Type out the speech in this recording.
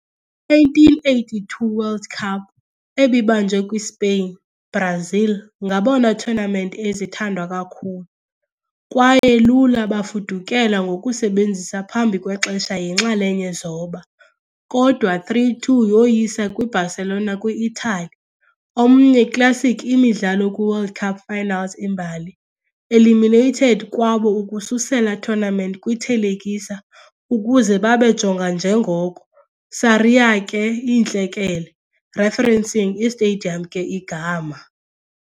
1982 World Cup, ebibanjwe kwi-Spain, Brazil ngabona tournament ezithandwa kakhulu, kwaye lula bafudukela ngokusebenzisa phambi kwexesha yinxalenye zoba, kodwa 3-2 yoyisa kwi-Barcelona kwi-Italy, omnye classic imidlalo kwi World Cup finals imbali, eliminated kwabo ukususela tournament kwi-thelekisa ukuze babe jonga njengoko "Sarriá ke, Iintlekele", referencing i-stadium ke igama.